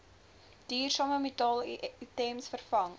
duursame metaalitems vervang